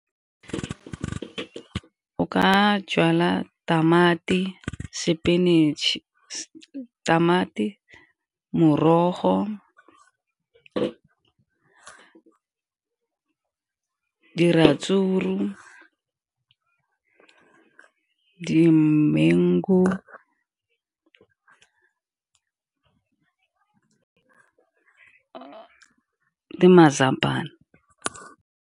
O ka jala tamati, spinach, tamati, morogo, diratsuru, ke dimengu le mazambane.